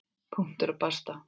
Punktur og basta.